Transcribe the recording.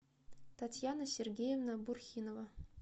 татьяна сергеевна бурхинова